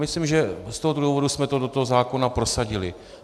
Myslím, že z tohoto důvodu jsme to do toho zákona prosadili.